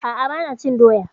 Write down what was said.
A'a, ba na cin doya